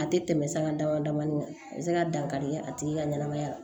A tɛ tɛmɛ san dama damani kan a bɛ se ka dankari kɛ a tigi ka ɲɛnamaya la